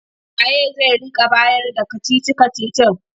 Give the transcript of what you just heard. Wa ye zai rika bayarda kacici-kacicin?